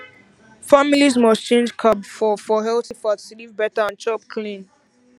families must change carb for for healthy fat to live better and chop clean